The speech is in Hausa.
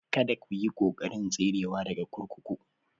Kada ku yi ƙoƙarin tserewa daga kurkuku